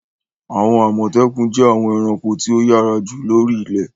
Àwọn Àmọ̀tẹ́kùn jẹ́ àwọn ẹranko tí ó yára jù lóri ilẹ̀.